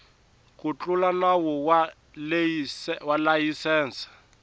ku tlula nawu wa layisense